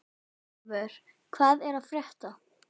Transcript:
Eivör, hvað er að frétta?